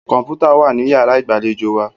Kọ̀npútà wà ní yàrá ìgbàlejò wa.